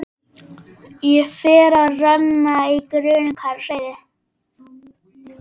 Og fer að renna í grun hvað sé á seyði.